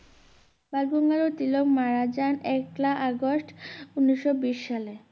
বালগঙ্গাধর তিলক মারা যান একলা আগস্ট উনিশশো বিশ সালে